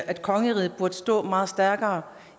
at kongeriget burde stå meget stærkere